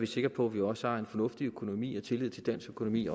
sikre på at vi også har en fornuftig økonomi og tillid til dansk økonomi